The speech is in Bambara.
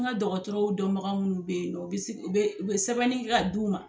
N ka dɔgɔtɔrɔw dɔnbaga minnu bɛ yen nɔ u bɛ u bɛ sɛbɛnni kɛ ka d' u ma